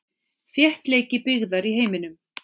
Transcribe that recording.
Þéttleiki byggðar í heiminum.